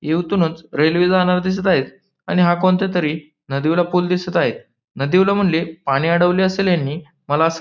युवतूनच railway जाणारी दिसत आहेत आणि हा कोणत्यातरी नदीवाला पूल दिसत आहे नदीवाला म्हणले पाणी अडवले असेल यांनी मला असं --